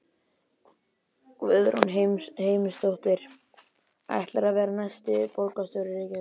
Guðrún Heimisdóttir: Ætlarðu að verða næsti borgarstjóri Reykjavíkur?